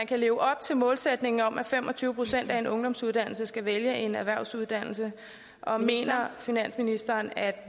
kan leve op til målsætningen om at fem og tyve procent af en ungdomsårgang skal vælge en erhvervsuddannelse og mener finansministeren at